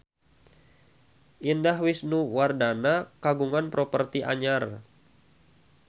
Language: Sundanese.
Indah Wisnuwardana kagungan properti anyar